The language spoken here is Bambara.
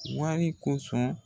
Wari kosɔn